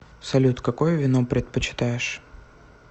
салют какое вино предпочитаешь